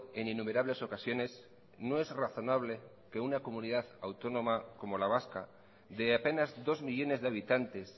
en innumerables ocasiones no es razonable que una comunidad autónoma como la vasca de apenas dos millónes de habitantes